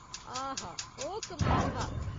आहा ! ओह् कमाल हा।